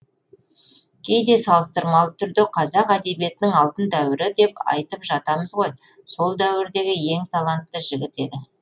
кейде салыстырмалы түрде қазақ әдебиетінің алтын дәуірі деп айтып жатамыз ғой сол дәуірдегі ең талантты жігіт еді